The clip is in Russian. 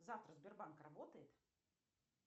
завтра сбербанк работает